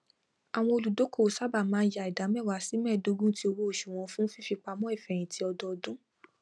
àwọn olùdókòwò sábà máa ń yà ida mewa sí medogun ti owóoṣù wọn fún fífipamọ ifẹyinti ọdọdún